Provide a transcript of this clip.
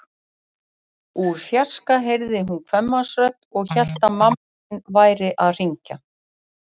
Úr fjarska heyrði hún kvenmannsrödd og hélt að mamma sín væri að hringja.